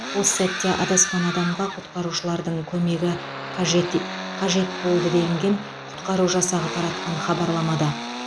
осы сәтте адасқан адамға құтқарушылардың көмегі қажет е қажет болды делінген құтқару жасағы таратқан хабарламада